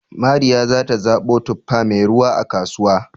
Mariya za ta zaɓo tuffa mai ruwa, a kasuwa